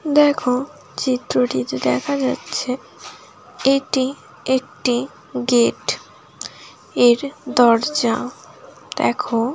দেখো চিত্রটিতে দেখা যাচ্ছে এটি একটি গেট এর দরজা দেখো--